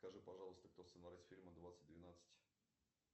скажи пожалуйста кто сценарист фильма двадцать двенадцать